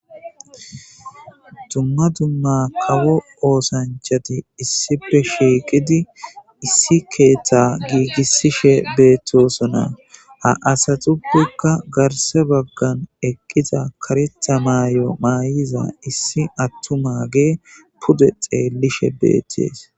dumma dumma kawo oosanchati issipe shieqidi issi keeththa giigissishe beettosona ha asatupekka garse baggan eqqiza kareta maayo maayiza issi attumagee pude xeellishe beeththees